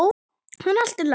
En allt í lagi.